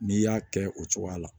N'i y'a kɛ o cogoya la